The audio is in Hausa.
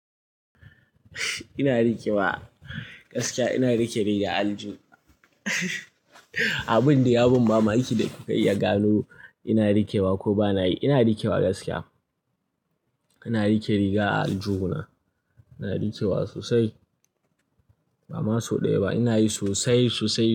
Ina rikewa gaskiya, ina rike riga a aljihu. Abin dai ya ban mamaki da kuka iya gano ina rikewa ko bana yi. Ina rikewa gaskiya, ina rike riga a aljihu na. Ina rikewa sosai, ba maso ɗaya ba, ina yi sosai sosai.